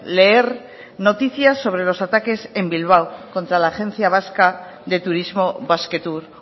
leer noticias sobre los ataques en bilbao contra la agencia vasca de turismo basquetour